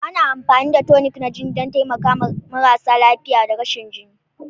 Ana amfani da tonic na jini don taimakawa marasa lafiya da rashin jini.